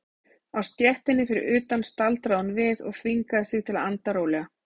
Á stéttinni fyrir utan staldraði hún við og þvingaði sig til að anda rólega.